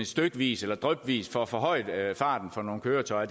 stykvis eller drypvis får forhøjet farten for nogle køretøjer